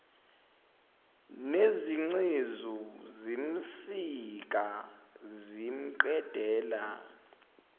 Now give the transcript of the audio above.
nezingcezu zimsika zimqedela